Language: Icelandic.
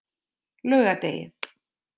laugardegi